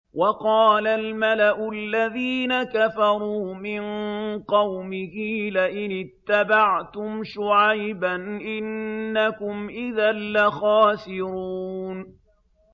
وَقَالَ الْمَلَأُ الَّذِينَ كَفَرُوا مِن قَوْمِهِ لَئِنِ اتَّبَعْتُمْ شُعَيْبًا إِنَّكُمْ إِذًا لَّخَاسِرُونَ